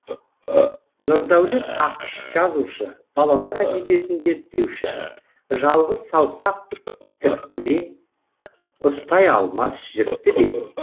нұрдәулет ақыш жазушы балалар әдебиетін зерттеуші жалғыз саусақ тіпті де ұстай алмас жіпті де